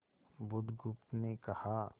बुधगुप्त ने कहा